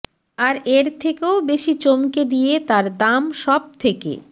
আর এর থেকেও বেশি চমকে দিয়ে তার দাম সব থেকে